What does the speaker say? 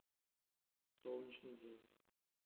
солнечный день